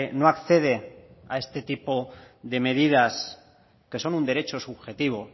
no accede a este tipo de medidas que son un derecho subjetivo